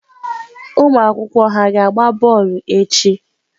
Ụmụ akwụkwọ ha ga-agba bọọlụ echi?